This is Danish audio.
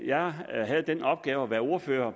jeg havde den opgave at være ordfører